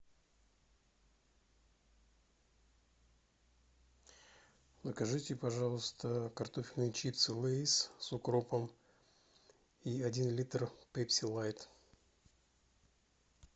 закажите пожалуйста картофельные чипсы лейс с укропом и один литр пепси лайт